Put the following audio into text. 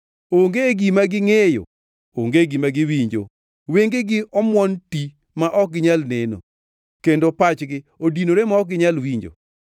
Onge gima gingʼeyo, onge gima giwinjo; wengegi omuon ti ma ok ginyal neno, kendo pachgi odinore ma ok ginyal winjo.